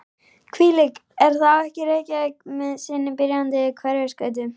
Hvílík er þá ekki Reykjavík með sinni byrjandi Hverfisgötu og